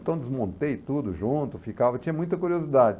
Então desmontei tudo junto, ficava, tinha muita curiosidade.